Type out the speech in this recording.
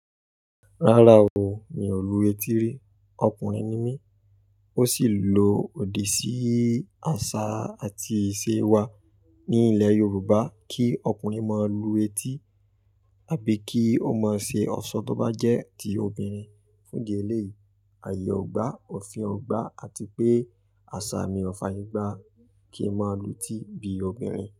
Rárá o, mi ò lu etí rí, ọkùnrin ni mí. Ó sì lò òdì sí àṣà àti ìṣe wa ní ilẹ̀ Yorùbá kí ọkùnrin máa lu etí àbí kí ó máa ṣe ọ̀ṣọ́ tó bá jẹ́ ti obìnrin. Fún di eléyìí, ààyè ò gbá, òfin ò gbá àti pé àsà mi ò fààyè gbá kí n máa lu etí bí obìnrin.